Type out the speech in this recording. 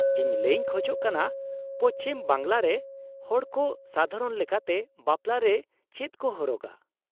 -ᱤᱧ ᱞᱟᱹᱭᱤᱧ ᱠᱷᱚᱡ ᱠᱟᱱᱟ ᱯᱚᱪᱷᱤᱢ ᱵᱟᱝᱞᱟ ᱨᱮᱱ ᱦᱚᱲᱠᱚ ᱥᱟᱫᱷᱟᱨᱚᱱ ᱞᱮᱠᱟᱛᱮ ᱵᱟᱯᱞᱟ ᱨᱮ ᱪᱮᱫ ᱠᱚ ᱦᱚᱨᱚᱜᱟ ᱾